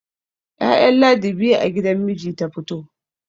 ya'yan ladi biyu a gidan miji ta fito